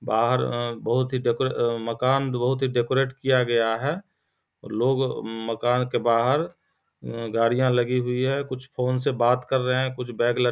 बाहर बहुत ही डेको मकान बहुत ही डेकोरेट किया गया है लोग मकान के बाहर गाड़िया लगी हुई है कुछ फ़ोन से बात कर रहे हैं कुछ बैग ल --